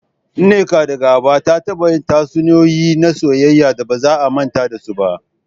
Nneka, daga Aba, ta taba yin tatsuniyoyi na soyayya da ba za a manta da su ba.